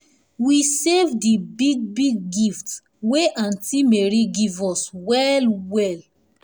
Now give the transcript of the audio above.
we save di big big gift wey aunt mary give us well well us well well